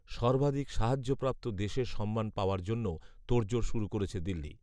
সর্বাধিক সাহায্যপ্রাপ্ত দেশের সম্মান পাওয়ার জন্যও তোড়জোড় শুরু করেছে দিল্লি